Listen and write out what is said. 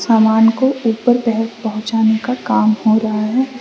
सामान को ऊपर तक पहुंचाने का काम हो रहा है।